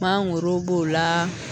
Mangoro b'o la